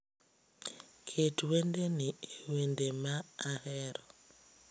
Ket wende ni e wende ma ahero